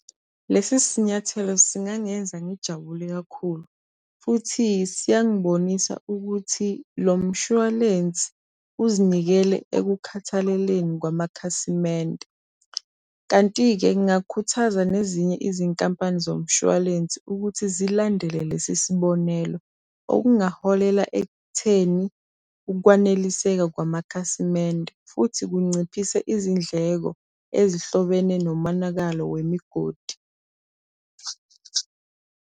Lesi sinyathelo singangenza ngijabule kakhulu. Futhi siyangibonisa ukuthi lo mshwalense uzinikele ekukhathaleleni kwamakhasimende. Kanti-ke ngingakhuthaza nezinye izinkampani zomshwalense ukuthi zilandele lesi sibonelo. Okungaholela ekutheni ukwaneliseka kwamakhasimende, futhi kunciphise izindleko ezihlobene nomonakalo wemigodi.